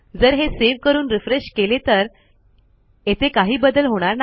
जर हे सेव्ह करून रिफ्रेश केले तर येथे काही बदल होणार नाही